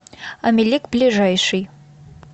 амелик ближайший